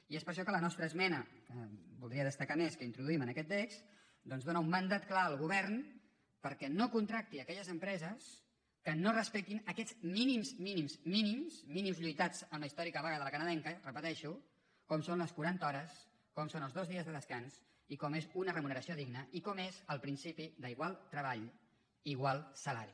i és per això que la nostra esmena que voldria destacar més que introduïm en aquest text doncs dóna un mandat clar al govern perquè no contracti aquelles empreses que no respectin aquests mínims mínims mínims mínims lluitats en la històrica vaga de la canadenca ho repeteixo com són les quaranta hores com són els dos dies de descans i com és una remuneració digna i com és el principi d’igual treball igual salari